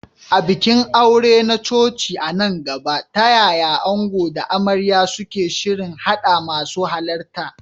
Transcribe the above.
A bikin aure na coci a nan gaba, ta yaya ango da amarya suke shirin haɗa masu halarta?